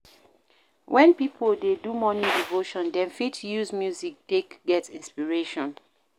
When pipo dey do morning devotion dem fit use music take get inspiration